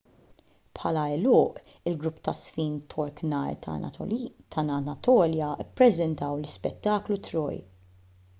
bħala għeluq il-grupp taż-żfin tork nar ta' anatolja ppreżentaw l-ispettaklu troy